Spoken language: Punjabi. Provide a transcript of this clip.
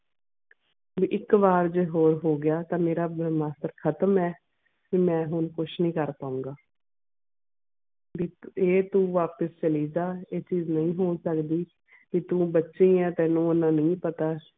ਤੇ ਇੱਕ ਵਾਰ ਜੇ ਹੋਰ ਹੋ ਗਿਆ ਤਾਂ ਮੇਰਾ ਬ੍ਰਹਮਸਤਰ ਖਤਮ ਆ ਤੇ ਮੈਂ ਹੁਣ ਕੁਛ ਨਹੀਂ ਕਰ ਪਾਊਂਗਾ ਵੀ ਇਕ ਇਹ ਤੂੰ ਵਾਪਿਸ ਚਲੀ ਜਾ ਇਹ ਚੀਜ਼ ਨਹੀਂ ਹੋ ਸਕਦੀ ਤੇ ਤੂੰ ਬੱਚੀ ਆਂ ਤੈਂਨੂੰ ਏਨਾ ਨਹੀਂ ਪਤਾ